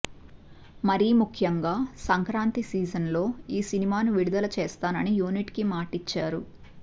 మరీ ముఖ్యంగా సంక్రాంతి సీజన్ లో ఈ సినిమాను విడుదల చేస్తానని యూనిట్ కి మాటిచ్చారు